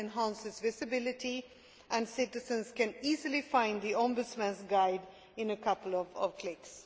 that. It enhances visibility and citizens can easily find the Ombudsman's guide in a couple of clicks.